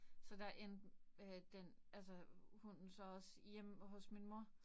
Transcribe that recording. Så der endte øh den altså hunden så også hjemme hos min mor